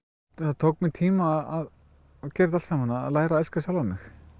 það tók mig tíma að gera þetta allt saman að læra að elska sjálfa mig